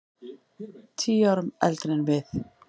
Tíu árum eldri en við.